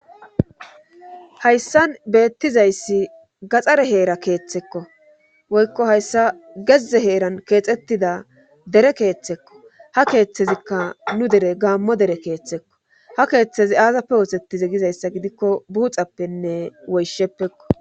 Hayssan beettizayssi gaxxare heera keeththekko woykko hayssa gezze heeran keexettida dere keeththekko ha keeththezikka nu dere gaammo dere keeththekko ha keeththezi aasappe wotettize gizayssa gidikko buuxappenne woysheppekko.